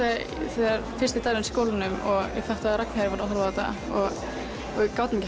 þegar fyrsti dagurinn skólanum og ég fattaði að Ragnheiður var að horfa á þetta og við gátum